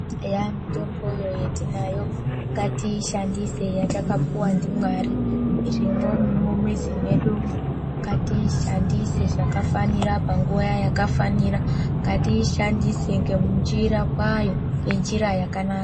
Eya mutomboyo yetinayo ngatiishandise yetakapuwa ndiMwari, irimo mumizi mwedumwo. Ngatiishandise zvakafanira panguwa yakafanira. Ngatiishandise ngenjira kwayo, ngenjira yakanaka.